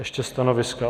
Ještě stanoviska.